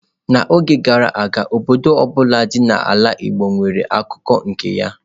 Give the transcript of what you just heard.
N'oge gara aga, obodo ọ bụla dị n'ala igbo nwere akụkọ nke ya.